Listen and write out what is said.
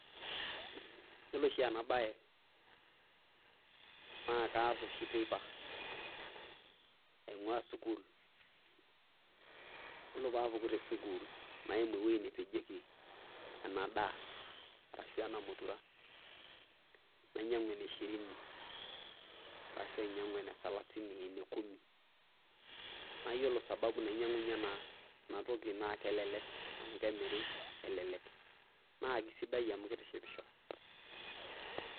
Iyiolo oshi ena bae naake aas oshi teipa aing'ua sukul. Yiolo ore paapuku te sukul naa kaimu ewueji napejieki ena daa arashu ena mutura. Nainyang'u ene shirini arashu ainyang'u ene salasini, ene kumi. Naa iyiolo sababu nainyang'unye ena toki naa kelelek arashu kemiri elelek. Naa keisidai amu keitishipisho.